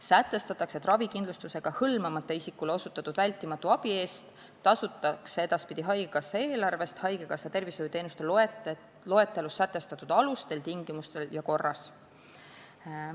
Sätestatakse, et ravikindlustusega hõlmamata isikule osutatud vältimatu abi eest tasutakse edaspidi haigekassa eelarvest haigekassa tervishoiuteenuste loetelus sätestatud alustel, tingimustel ja korras.